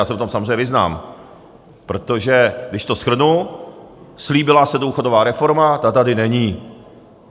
Já se v tom samozřejmě vyznám, protože když to shrnu, slíbila se důchodová reforma, ta tady není.